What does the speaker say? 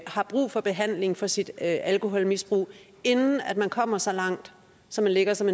har brug for behandling for sit alkoholmisbrug inden man kommer så langt så man ligger som